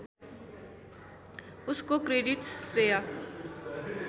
उसको क्रेडिट्स श्रेय